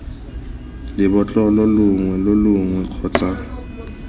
lebotlolo longwe lo longwe kgotsa